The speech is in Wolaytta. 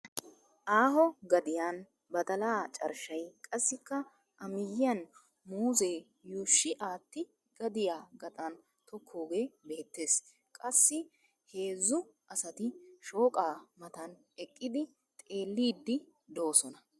Aaho gadiyan badalaa carshshay qassikka amiyyiyan muuzee yuushshi aatti gadiya gaxan tokkoogee beettes. Qassii heezzu asati shooqaa matan eqqidi xelliiddi doosona.